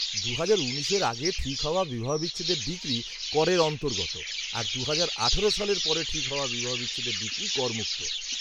দু'হাজার উনিশের আগে ঠিক হওয়া বিবাহবিচ্ছেদের ডিক্রি করের অন্তর্গত আর দু'হাজার আঠেরো সালের পরে ঠিক হওয়া বিবাহবিচ্ছেদের ডিক্রি করমুক্ত।